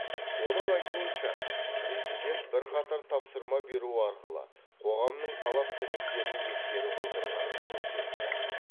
оның айтуынша президент бірқатар тапсырма беру арқылы қоғамның талап тілектерін ескеріп отырғанын көрсетті